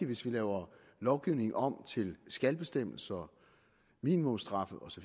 hvis vi laver lovgivningen om til skal bestemmelser minimumsstraffe osv